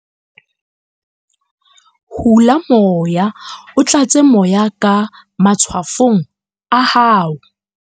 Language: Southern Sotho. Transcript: hula moya o tlatse moya ka matshwafong a hao